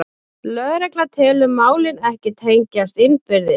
Lögregla telur málin ekki tengjast innbyrðis